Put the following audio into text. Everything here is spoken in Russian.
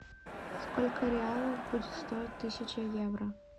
сколько реалов будет стоить тысяча евро